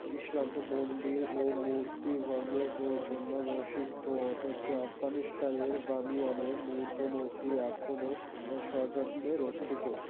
ইসলাম তো মন্দির ও মূর্তি ভঙ্গের জন্য প্রসিদ্ধ অথচ আফগানিস্তানের বামিয়ানে বৌদ্ধ মূর্তি এখনও সযত্নে রক্ষিত